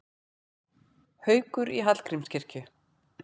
Haukur í Hallgrímskirkju